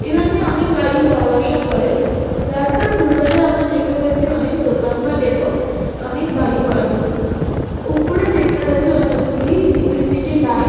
এখন দিয়ে অনেক গাড়ি যাওয়া আসা করে রাস্তার দুধারে আমরা দেখতে পাচ্ছি অনেক দোকানপাট এবং অনেক বাড়িঘরদোর উপরে দেখতে পাচ্ছি অনেকগুলি ইলেক্ট্রিসিটি লাইন |